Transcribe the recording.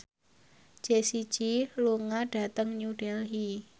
Jessie J lunga dhateng New Delhi